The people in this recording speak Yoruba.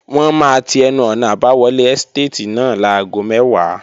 Wọ́n máa ti ẹnu-ọ̀nà àbáwọlé ẹ́stàtì náà láago mẹ́wàá